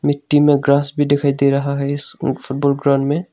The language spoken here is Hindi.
मिट्टी में ग्रास भी दिखाई दे रहा है इस फुटबॉल ग्राउंड में।